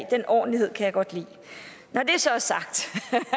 den ordentlighed kan jeg godt lide når det så er sagt